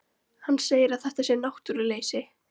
Hann segir að þetta sé náttúruleysi.